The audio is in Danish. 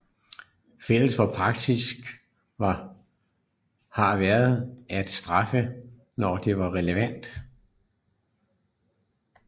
Fælles for praksis har været at straffe når det var relevant